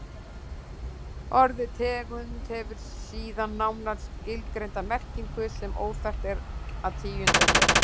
Orðið tegund hefur síðan nánar skilgreinda merkingu sem óþarft er að tíunda hér.